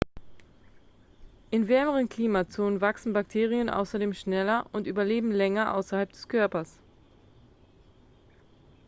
in wärmeren klimazonen wachsen bakterien außerdem schneller und überleben länger außerhalb des körpers